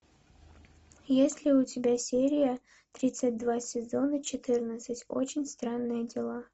есть ли у тебя серия тридцать два сезона четырнадцать очень странные дела